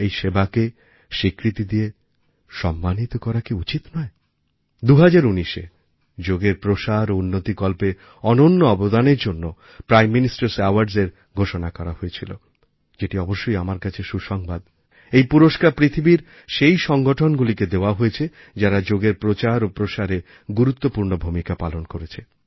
এই সেবাকে স্বীকৃতি দিয়ে সম্মানিত করা কি উচিত নয় ২০১৯এ যোগের প্রসার ও উন্নতিকল্পে অনন্য অবদানের জন্য প্রাইম ministerস্ Awardsএর ঘোষণা করাহয়েছিল যেটা অবশ্যই আমার কাছে সুসংবাদ এই পুরস্কার পৃথিবীর সেই সংগঠনগুলিকে দেওয়া হয়েছে যারা যোগেরপ্রচার ও প্রসারে গুরুপূর্ণ ভূমিকা পালন করেছে